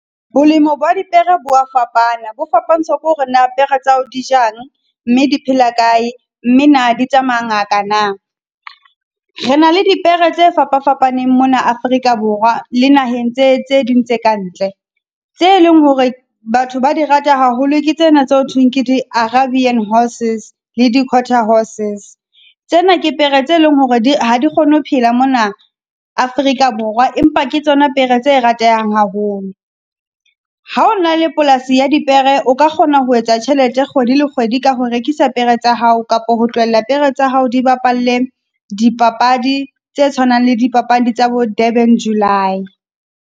Bolemo ba dipere bo wa fapana, bo fapantsha ke hore na pere tsa hao di jang? Mme di phela kae? Mme na di tsamaya ngaka na? Re na le dipere tse fapafapaneng mona Afrika Borwa le naheng tse tse ding tse ka ntle. Tse leng hore batho ba di rata haholo, ke tsena tse ho thweng ke di arabian horses le di-quarter horses. Tsena ke pere tse leng hore di, ha di kgone ho phela mona Afrika Borwa, empa ke tsona pere tse ratehang haholo. Ha o na le polasi ya dipere, o ka kgona ho etsa tjhelete kgwedi le kgwedi ka ho rekisa pere tsa hao, kapa ho tlohella pere tsa hao di bapalle dipapadi tse tshwanang le dipapadi tsa bo Durban July.